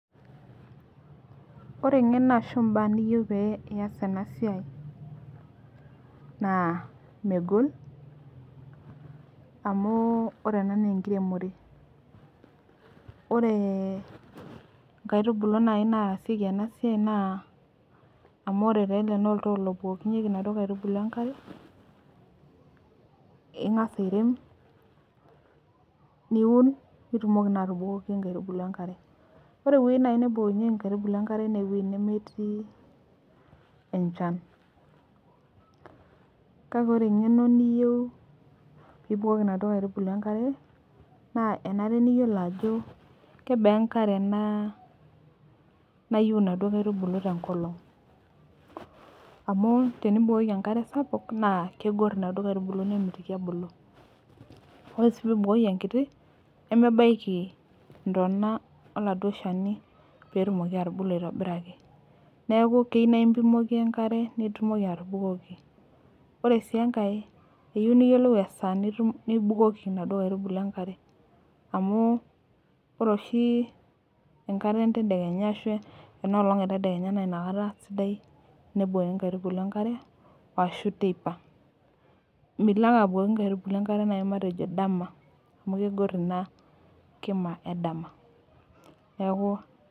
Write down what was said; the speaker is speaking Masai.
Ore eng'eno ashu mbaya niyieu pee iyas ena siai naa megol. ore ena naa enkiremore. ore nkaitubulu naaji naasieki ena siai naa amu ore taa ele naa oltoo lobukukonyeki inaduoo aitubulu enkare. ingas airem, niun nitumoki taa atabukoki enkare ore wuejitin naaji naabukukokinyeki nkaitubulu enkare naa wue